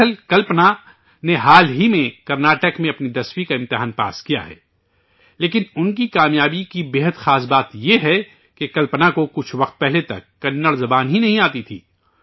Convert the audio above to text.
دراصل ، کلپنا نے حال ہی میں کرناٹک میں اپنا 10 ویں کا امتحان پاس کیا ہے لیکن ان کی کامیابی کی بے حد خاص بات یہ ہے کہ کلپنا کو کچھ وقت پہلے تک کنڑ زبان ہی نہیں آتی تھی